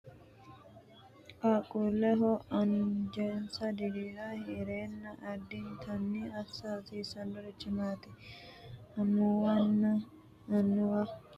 Qaaqquulleho anjesa dirira heedheenna addintanni assa hasiisannorichi maati? Amuwunna annuwu qaaqquullinsa heeshshora shiqisha hasiissannori sasu qarurichi maati? Fayyimmate agarooshshi ogeettenna ila amuwinna qaaqquulle’ne annuwi hasaawaho gamba yitinore hiittoonni amaddinanni?